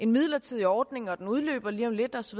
midlertidig ordning der udløber lige om lidt og så